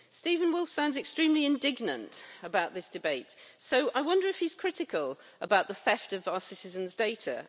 Steven Woolfe sounds extremely indignant about this debate, so I wonder if he's critical about the theft of our citizens' data?